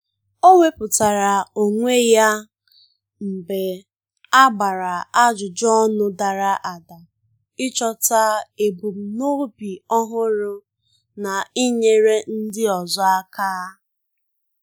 O wepụtara onwe ya ya mgbe a gbara ajụjụ ọnụ dara ada, ịchọta ebumnobi ọhụrụ n'inyere ndị ọzọ aka